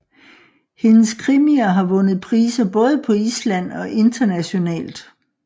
Hendes krimier har vundet priser både på Island og internationalt